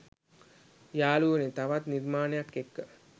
යාළුවනේ තවත් නිමාණයක් එක්ක